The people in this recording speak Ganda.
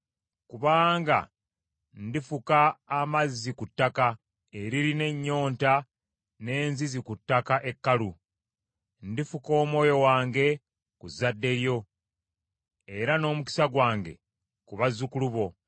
Kubanga ndifuka amazzi ku ttaka eririna ennyonta n’enzizi ku ttaka ekkalu. Ndifuka Omwoyo wange ku zadde lyo, era n’omukisa gwange ku bazzukulu bo.